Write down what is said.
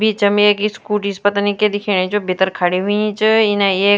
बीचम एक स्कूटी स पतनी क्य दिखेणी च भीतर खड़ीं हुई च इने एक --